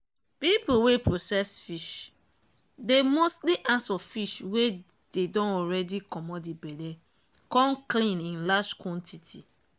people wey process fish dey mostly ask for fish wey dey don already commot the belle com clean in large quantity.